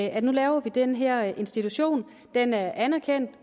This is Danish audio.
at nu laver vi den her institution den er anerkendt